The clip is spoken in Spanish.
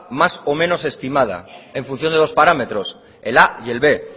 mas o menos estimada en función de dos parámetros el a y el b